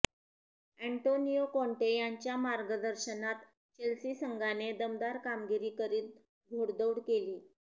Antonio Conte यांच्या मार्गदर्शनात Chelsea संघाने दमदार कामगिरी करीत घोडदौड केलीय